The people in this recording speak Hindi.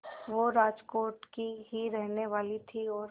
वो राजकोट की ही रहने वाली थीं और